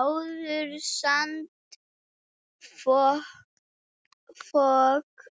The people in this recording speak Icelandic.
Áður sandfok